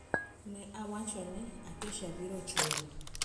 Ne awacho ni, "Acacia biro chulo".